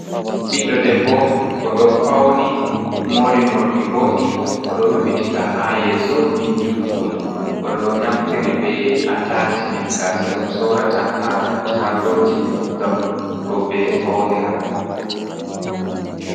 Ɓiɗdo debbo oɗo fauni mori morɗi boɗɗi oɗo rufitika ha yeso ni juɗɗum oɗo naftiri bei atachimen gasa ɗum sorata ha chagoji ngam roɓe faunira.